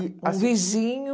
Um vizinho...